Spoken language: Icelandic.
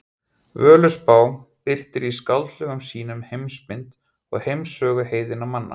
Völuspá birtir í skáldlegum sýnum heimsmynd og heimssögu heiðinna manna.